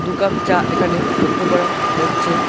দুকাপ চা এখানে লক্ষ্য করা যাচ্ছে।